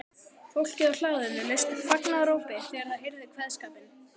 Fólkið á hlaðinu laust upp fagnaðarópi þegar það heyrði kveðskapinn.